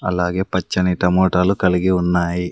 అలాగే పచ్చని టమోటాలు కలిగి ఉన్నాయి.